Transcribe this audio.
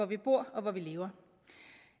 vi bor og lever